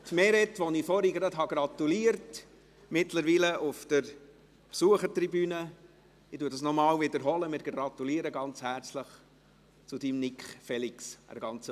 Traktandum 25 der Frühlingssession 2020 (M 161-2019, Hamdaoui: ) ist fix zu traktandieren am Mittwoch, 04.03.2020, 09.30 Uhr.